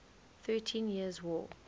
thirteen years war